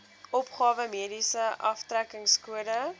opgawe mediese aftrekkingskode